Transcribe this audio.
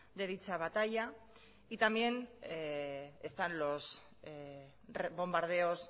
de dicha batalla y también están los bombardeos